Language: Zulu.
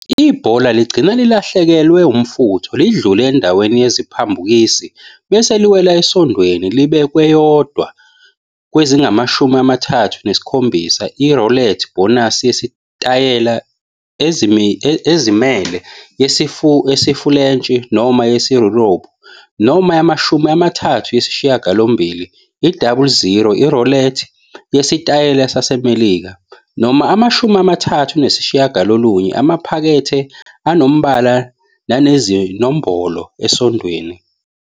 Ibhola ligcina lilahlekelwe umfutho, lidlule endaweni yeziphambukisi, bese liwela esondweni libe kweyodwa kwezingamashumi amathathu nesikhombisa, i- roulette bonus yesitayela esizimele, yesiFulentshi noma yaseYurophu, noma yamashumi amathathu nesishiyagalombili, i-double-ziro, i-roulette yesitayela saseMelika, noma amashumi amathathu nesishiyagalolunye amaphakethe anombala nanezinombolo esondweni.